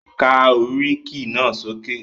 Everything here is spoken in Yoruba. Ka oríkì náà sókè!